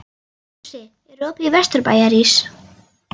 Jónsi, er opið í Vesturbæjarís?